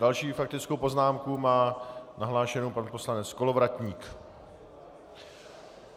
Další faktickou poznámku má nahlášenu pan poslanec Kolovratník.